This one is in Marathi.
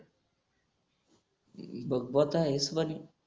बघ बत आहेस पण